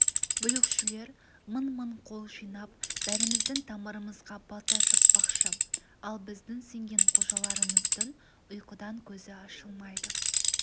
бүлікшілер мың-мың қол жинап бәріміздің тамырымызға балта шаппақшы ал біздің сенген қожаларымыздың ұйқыдан көзі ашылмайды